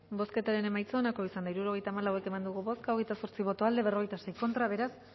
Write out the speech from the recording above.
bozketaren emaitza onako izan da hirurogeita hamalau eman dugu bozka hogeita zortzi boto aldekoa cuarenta y seis contra beraz